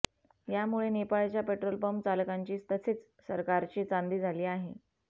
यामुळे नेपाळच्या पेट्रोलपंप चालकांची तसेच सरकारची चांदी झाली आहे